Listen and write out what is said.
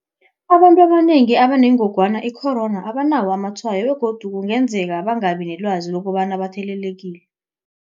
Abantu abanengi abanengogwana i-corona abanawo amatshwayo begodu kungenzeka bangabi nelwazi lokobana bathelelekile.